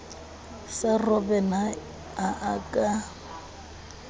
sa robben ha a ka